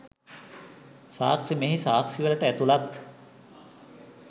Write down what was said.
සාක්ෂි මෙහි සාක්ෂිවලට ඇතුළත්